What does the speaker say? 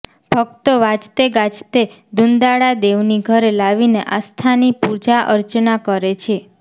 ભક્તો વાજતેગાજતે દુંદાળાદેવની ઘરે લાવીને આસ્થાની પૂજાઅર્ચના કરે છે